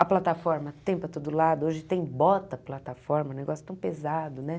A plataforma tem para todo lado, hoje tem bota-plataforma, um negócio tão pesado, né?